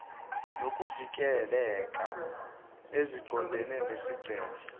nokuvikeleka eziqondene nesigceme